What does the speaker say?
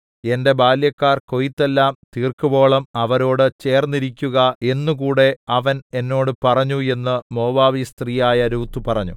എന്റെ ബാല്യക്കാർ കൊയ്ത്തെല്ലാം തീർക്കുവോളം അവരോടു ചേര്‍ന്നിരിക്കുക എന്നു കൂടെ അവൻ എന്നോട് പറഞ്ഞു എന്നു മോവാബ്യസ്ത്രീയായ രൂത്ത് പറഞ്ഞു